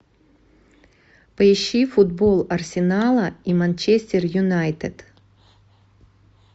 поищи футбол арсенала и манчестер юнайтед